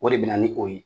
O de bɛ na ni o ye